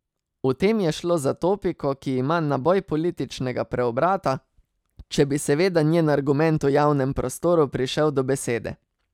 V tem je šlo za topiko, ki ima naboj političnega preobrata, če bi seveda njen argument v javnem prostoru prišel do besede.